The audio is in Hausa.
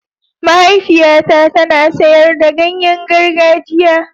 Mahaifiyata tana sayar da ganye gargajiya.